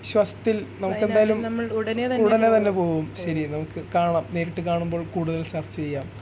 വിശ്വാസത്തിൽ നമക്ക് എന്തായാലും ഉടനെ തന്നെ പോവും ശെരി നമക്ക് കാണാം നേരിട്ട് കാണുമ്പോൾ കൂടുതൽ ചർച്ച ചെയ്യാം